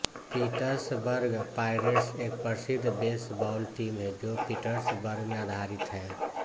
Pittsburgh Pirates एक प्रसिद्ध baseball team है जो पिट्सबर्ग में आधारित है